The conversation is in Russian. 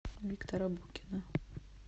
виктора букина